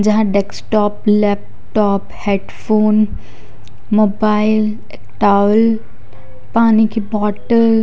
जहा desktop laptop headphone mobile towel पानी की बॉटल --